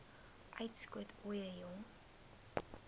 uitskot ooie jong